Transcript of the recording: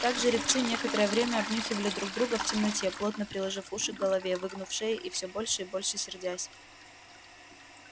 так жеребцы некоторое время обнюхивали друг друга в темноте плотно приложив уши к голове выгнув шеи и все больше и больше сердясь